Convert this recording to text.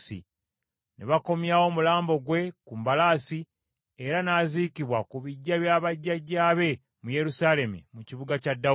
Ne bakomyawo omulambo gwe ku mbalaasi, era n’aziikibwa ku biggya bya bajjajjaabe mu Yerusaalemi, mu kibuga kya Dawudi.